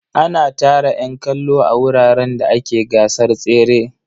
Ana tara ƴan kallo a wuraren da ake gasar tsere.